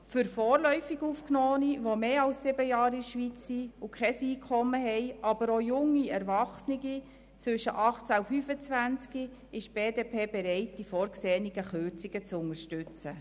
Für vorläufig Aufgenommene, die sich seit mehr als sieben Jahren in der Schweiz befinden und kein Einkommen haben, aber auch für junge Erwachsene zwischen 18 und 25 Jahren ist die BDP bereit, die vorgesehenen Kürzungen zu unterstützen.